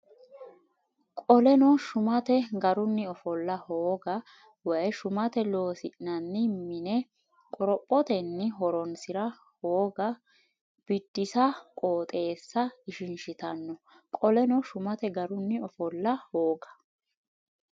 Qoleno shumate garunni ofolla hooga woy shumate Loossinanni mine qorophotenni horoonsi ra hooga Biddissa qooxeessa ishinshitanno Qoleno shumate garunni ofolla hooga.